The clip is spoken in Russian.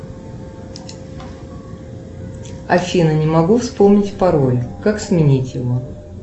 афина не могу вспомнить пароль как сменить его